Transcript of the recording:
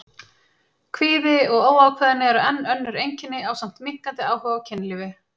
Kvíði og óákveðni eru enn önnur einkenni ásamt minnkandi áhuga á kynlífi.